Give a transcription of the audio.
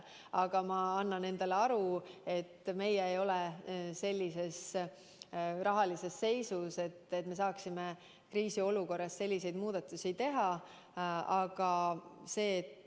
Aga ma annan endale aru, et meie ei ole sellises rahalises seisus, et me saaksime kriisiolukorras selliseid muudatusi teha.